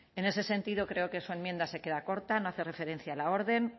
en ese sentido creo que su enmienda se queda corta no hace referencia a la orden